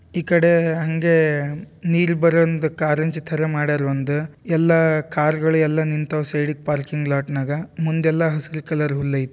ಈ ಕಡೆ ಹಂಗೆ ನೀರು ಬರಂಗ್ ಕಾರಂಜಿ ಥರ ಮಾಡ್ಯಾರು ಒಂದ್ ಎಲ್ಲ ಕಾರುಗಳ್ ಎಲ್ಲ ನಿಂತವ್ ಸೈಡಿಗ್ ಪಾರ್ಕಿಂಗ್ ಲಾಟ್ ನಾಗ ಮುಂದೆಲ್ಲ ಹಸುರ್ ಕಲರ್ ಹುಲ್ಲ್ ಐತ್--